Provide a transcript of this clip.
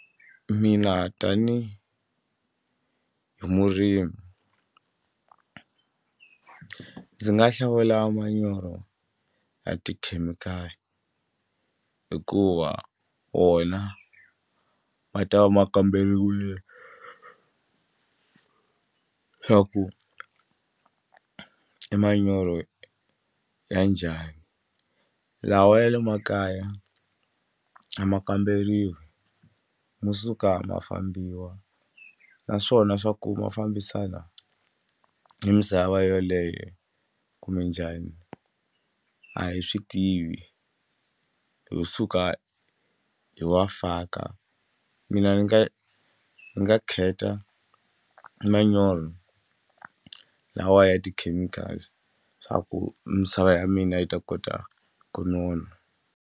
Mina tanihi hi murimi ndzi nga hlawula manyoro ya tikhemikhali hikuva wona ma ta va ma kamberiwile swa ku i manyoro ya njhani lawa ya le makaya a ma kamberiwi mo suka ma fambiwa naswona swa ku ma fambisana ni misava yeleyo kumbe njhani a hi swi tivi ho suka hi wa faka mina ni nga ni nga kheta manyoro lawa ya ti-chemicals swa ku misava ya mina yi ta kota ku nona.